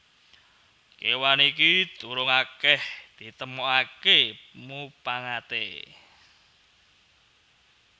Kéwan iki durung akèh ditemokaké mupangaté